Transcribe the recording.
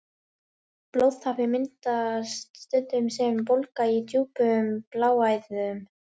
Blóðtappi myndast stundum sem bólga í djúpum bláæðum.